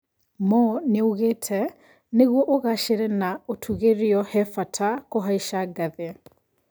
Mo nĩoigĩte "Nĩguo ũgacĩre na ũtũgĩrio hebata kuhaica ngathĩ".